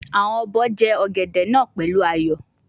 Awon obo je ogede naa pelu ayo